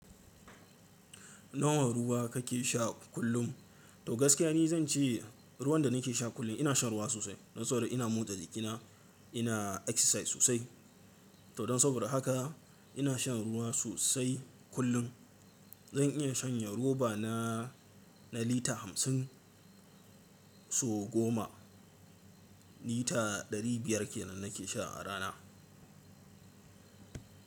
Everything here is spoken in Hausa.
Nawa ruwa kake sha kullum? To gaskiya ne zan ce ruwan da nake sha kullum ina shan ruwa sosai. Don saboda ina motsa jikina, ina exercise sosai. To don saboda haka ina shan ruwa sosai kullum. Zan iya shanye roba na, na lita hamsin sau goma. Lita ɗari biyar ke nan nake sha a rana.